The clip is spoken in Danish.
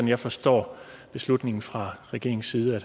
jeg forstår beslutningen fra regeringens side